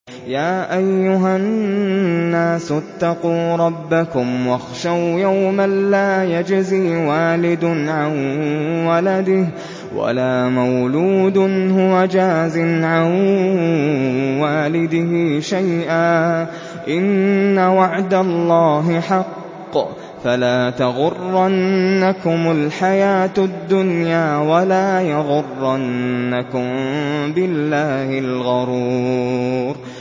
يَا أَيُّهَا النَّاسُ اتَّقُوا رَبَّكُمْ وَاخْشَوْا يَوْمًا لَّا يَجْزِي وَالِدٌ عَن وَلَدِهِ وَلَا مَوْلُودٌ هُوَ جَازٍ عَن وَالِدِهِ شَيْئًا ۚ إِنَّ وَعْدَ اللَّهِ حَقٌّ ۖ فَلَا تَغُرَّنَّكُمُ الْحَيَاةُ الدُّنْيَا وَلَا يَغُرَّنَّكُم بِاللَّهِ الْغَرُورُ